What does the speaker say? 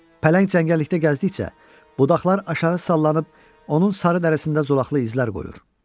Pələng cəngəllikdə gəzdikcə, budaqlar aşağı sallanıb onun sarı dərisində zolaqlı izlər qoyur.